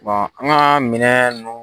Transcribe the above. an ka minɛ nunnu